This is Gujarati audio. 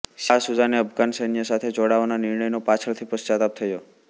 શાહ સુજાને અફઘાન સૈન્ય સાથે જોડાવાના નિર્ણયનો પાછળથી પશ્ચાતાપ થયો